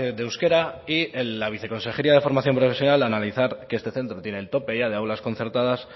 de euskera y la viceconsejería de formación profesional al analizar que este centro tiene el tope ya de aulas concertadas